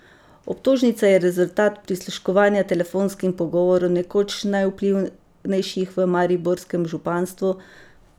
Obtožnica je rezultat prisluškovanja telefonskim pogovorom nekoč najvplivnejših v mariborskem županstvu.